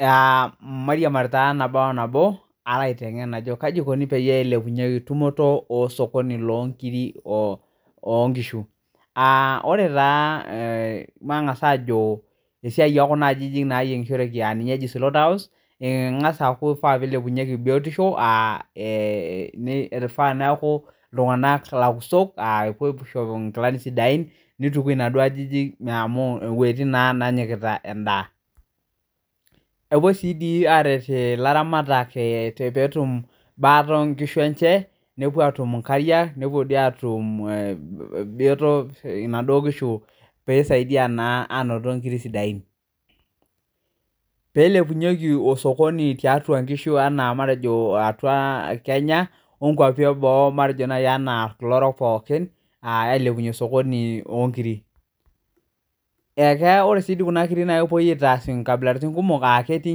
Aa mairiamari naboonabo palo aliki ajo kaiko peilepunyeki tumoto osokoni lonkirik onkishu matangasa ajo esiai ekunaajijik nayiengishoreki naji slaughter house ingasa aaku lasima peilepunyeki biotisho ifaa neaku ltunganak lakusok nituki naduo ajijik amu wuejitin nainyikita endaa epuoi si arwt laramatak petum baataobkishu enye nepuo atum biotisho petumieki nkirik sidain peilepunyeki osokoni lonkishu tiatua kenya olosho le boo matejo orok pooki ailepunye osokoni lonkirik ore si kuna kirik na kepuoi aitaas nkabilaitin kumok aketii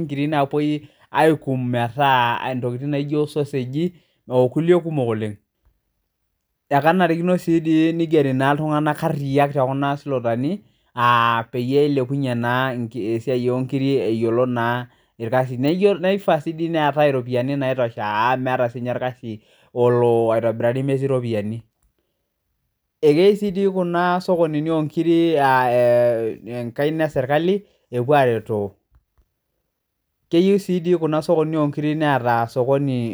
nkirik napuoi aikum aitaa ntokitin naijo soseji na kenarikino nigeri ltunganak qriya peilepunye esiai onkirik eyiolo naa orkasi nifaa si peeta ropiyani naitosha amu meeta orkasi olo aitobirari na keyieu si enkaina eserkali epuo aretoo keyieu si kuna sokonini onkirik neeta.